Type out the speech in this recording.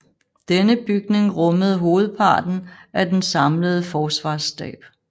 Denne bygning rummede hovedparten af den samlede Forsvarsstab